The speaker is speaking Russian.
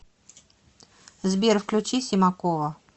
сбер включи симакова